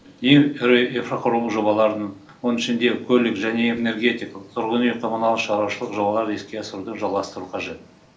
ең ірі инфрақұрылымдық жобалардың оның ішінде көлік және энергетикалық тұрғын үй коммуналдық шаруашылық жобаларды іске асыруды жалғастыру қажет